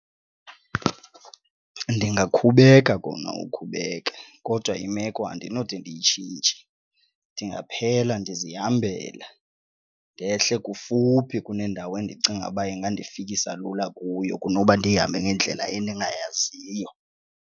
Ndingakhubeka kona ukhubeka kodwa imeko andinode ndiyitshintshe, ndingaphela ndizihambela ndehle kufuphi kunendawo endicinga uba ingandifikisa lula kuyo kunoba ndihambe ngendlela endingayaziyo.